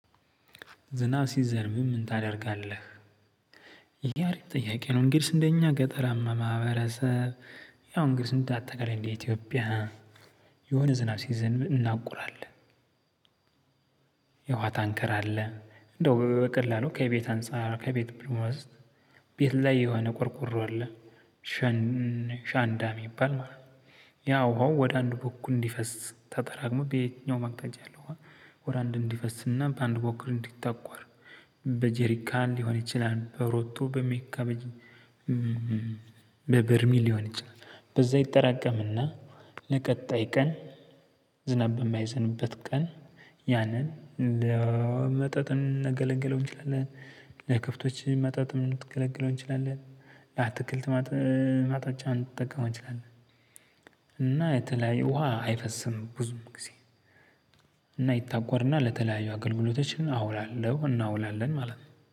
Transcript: ዝናብ ሲዘንብም ምን ታደርጋለህ? ይህ አሪፍ ጥያቄ ነው እንግዲህ እንደኛ ገጠራማ ማህበረሰብ ያው እንግደህ እንዳጠቃላይ እንደ ኢትዮጵያ የሆነ ዝናብ ሲዘንብ እናቁራለን አለ። የውሃ ታንከር አለ እንደው በቀላሉ ከቤት አንፃር ከቤት ብሎ ወዘት ቤት ላይ የሆነ ቆርቆሮ አለ። አሸንዳ የሚባል ማለት ነው። ውሃው ወደ አንድ በኩል እንዲፈስ ተጠራቅሞ በየትኛውም አቅጣጫ ያለ ውሃ። ወደ አንድ እንዲፈስና በአንድ በኩል እንዲታቆር። በጄሪካ ሊሆን ይችላል በሮቶ በሜካሜጅ። በበርሚል ሊሆን ይችላል። በዛ ይጠራቀምና። ለቀጣይ ቀን ዝናብ በማይዘንበት ቀን ያንን ለመጠጥ እንገለግለው እንችላለን። ለከብቶች መጠጥ እንገለግለው እንችላለን። አትክልት ማጠቻ እንትጠቀመው እንችላለን። እና የተለያየ ውሃ አይፈስም ብዙም ጊዜ። እና ይታቆርና ለተለያዩ አገልግሎቶችን አውላለሁ እናውላለን ማለት ነው